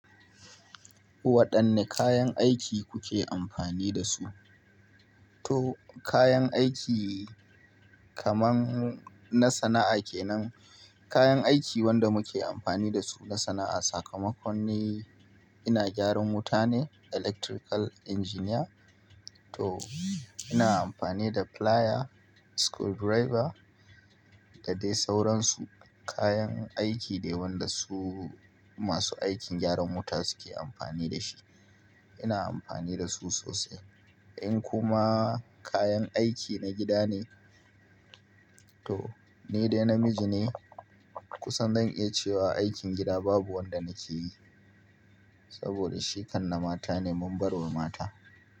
Waɗanne kayan aiki kuke amfani da su? To kayan aiki kaman na sana'a kenan, kayan aiki wanda muke amfani da su na sana'a sakamakon ni ina gyaran wuta ne electrical engineer. To ina amfani da plier, screwdriver da dai sauransu. Kayan aiki dai wanda su masu aikin gyaran wuta suke amfani da shi. Ina amfani da su sosai. In kuma kayan aiki na gida ne, to ni dai namiji ne kusan zan iya cewa aikin gida babu wanda nake yi. Saboda shi kan na mata ne mun bar wa mata.